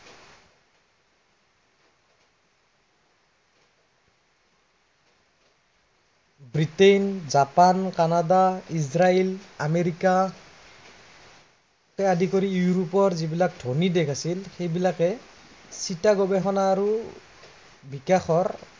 Britain, Japan, Canada, Israel America কে আদি কৰি ইউৰোপৰ যি বিলাক ধনী দেশ আছিল, সেইবালিকে, চিটা গৱেষণা আৰু বিকাশৰ